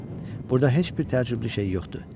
Burada heç bir təəccüblü şey yoxdur.